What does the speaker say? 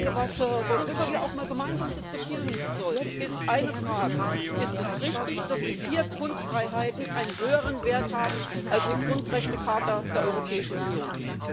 Etwas, worüber wir auch einmal gemeinsam diskutieren sollten, ist eine Frage Ist es richtig, dass die vier Grundfreiheiten einen höheren Wert haben als die Grundrechtecharta der Europäischen Union?